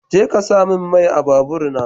Jeka saka min mai a babur na.